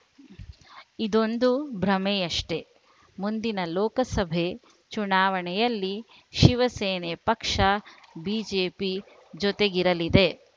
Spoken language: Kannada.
ಇದೊಂದು ಭ್ರಮೆಯಷ್ಟೇ ಮುಂದಿನ ಲೋಕಸಭೆ ಚುನಾವಣೆಯಲ್ಲಿ ಶಿವಸೇನೆ ಪಕ್ಷ ಬಿಜೆಪಿ ಜೊತೆಗಿರಲಿದೆ